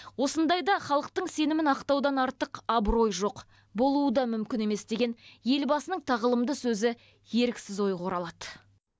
осындайда халықтың сенімін ақтаудан артық абырой жоқ болуы да мүмкін емес деген елбасының тағылымды сөзі еріксіз ойға оралады